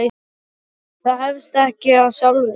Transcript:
Það hefst ekkert af sjálfu sér.